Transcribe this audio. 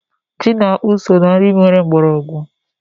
Ji na akpụ so na nri nwere mgbọrọgwụ.